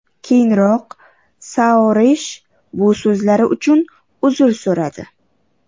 Keyinroq Soaresh bu so‘zlari uchun uzr so‘radi.